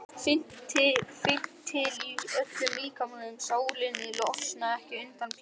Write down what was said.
Finn til í öllum líkamanum, sálinni, losna ekki undan Pésa.